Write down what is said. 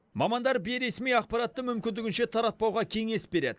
мамандар бейресми ақпаратты мүмкіндігінше таратпауға кеңес береді